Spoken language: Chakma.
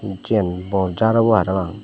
siyan bor jaar obo harapang.